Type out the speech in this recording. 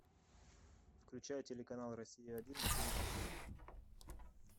включай телеканал россия один на телевизоре